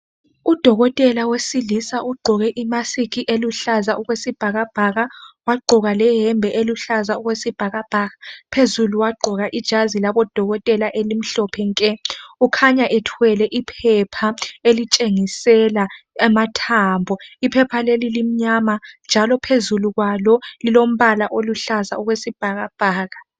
uDokotela wesilisa ugqoke imasikhi eluhlaza okwesibhakabhaka wagqoka leyembe eluhlaza okwesibhakabhaka phezulu wagqoka ijazi labo Dokotela elimhlophe nke ukhanya ethwele iphepha elitshengisela amathambo iphepha leli limnyama njalo phezulu kwalo lilombala oluhlaza okwesibhakabhaka